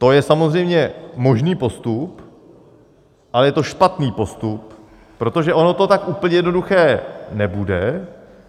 To je samozřejmě možný postup, ale je to špatný postup, protože ono to tak úplně jednoduché nebude.